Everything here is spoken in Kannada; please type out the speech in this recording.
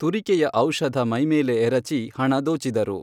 ತುರಿಕೆಯ ಔಷಧ ಮೈಮೇಲೆ ಎರಚಿ ಹಣ ದೋಚಿದರು.